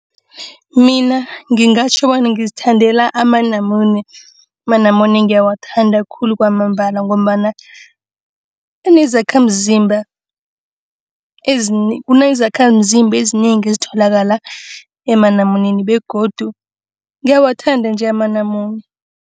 Mina ngingatjho bona ngizithandela amanamune. Amanamune ngiyawathanda khulu kwamambala ngombana anezakhamzimba. Kunezakhamzimba ezinengi ezitholakala emanamuneni begodu ngiyawuthanda nje amanamune.